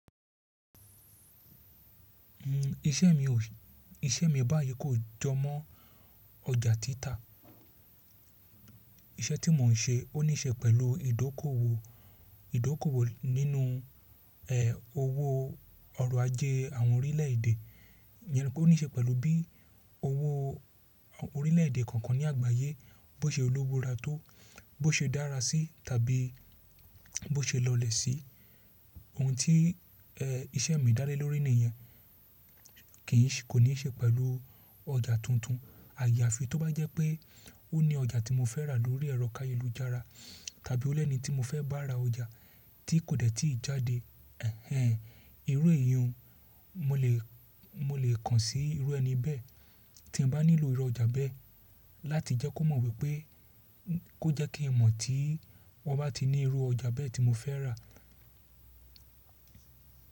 Iṣẹ́ mi ò, iṣẹ́ mi báyìí kò jọmọ́ ọjà títà. Iṣẹ́ tí mò ń ṣe ó níṣe pẹ̀lú ìdókòwò, ìdókòwò nínú, ẹ́, owó ọrọ̀ ajé àwọn orílẹ̀èdè. Ìyẹn nipeí ó níṣe pẹ̀lú bí owó orílẹ̀èdè kọọkan ní àgbáyé bó ṣe lówó ra tó, bó ṣe dára sí tàbí bó ṣe lọlẹ̀ sí. Ohun tí, ẹ́, iṣẹ́ mi dá lé lórí nìyẹn kì ń ṣe, kò níṣe pẹ̀lú ọjà tuntun. Àyàfi tó bá jẹ́ pé ó ní ọjà tí mo fẹ́ rà lórí ẹrọ kayelu jára tàbí o lẹ́ni tí mo fẹ́ bá ra ọjà tí kò dẹ́ tí ì jáde. Ẹ̀hẹn, irú eyun, mo lè, mo lè kàn sí irú ẹni bẹ́ẹ̀ tí n bá nílò irú ọjà bẹ́ẹ̀ láti jẹ́ kó mọ̀ wípé kó jẹ́ kí n mọ̀ tí wọ́n bá ti ní irú ọjà bẹ́ẹ̀ tí mo fẹ́ rà.